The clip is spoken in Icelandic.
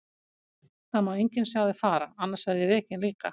Það má enginn sjá þig fara, annars verð ég rekinn líka.